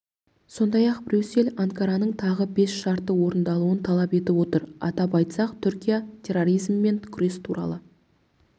сондай-ақ брюссель анкараның тағы бес шартты орындауын талап етіп отыр атап айтсақ түркия терроризммен күрес туралы